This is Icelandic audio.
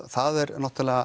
það er